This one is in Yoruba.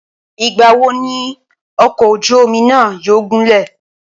Ìgbà wo ni ọ̀kọ̀ ojú omi náà yóò gúnlẹ̀?